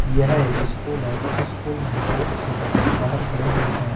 यह एक स्कूल है इस स्कूल में बहुत से बच्चे बाहर खड़े हुए हैं।